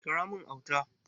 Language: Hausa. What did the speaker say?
Kira mun Auta!